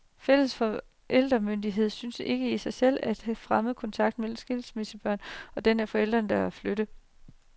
Fælles forældremyndighed synes ikke i sig selv at fremme kontakten mellem skilsmissebørn og den af forældrene, der er flyttet.